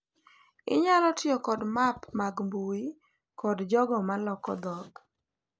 Inyalo tiyo kod map mag mbui kod jogo ma loko dhok